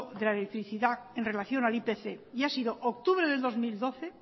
de la electricidad en relación al ipc y ha sido octubre de dos mil doce